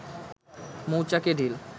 মৌচাকে ঢিল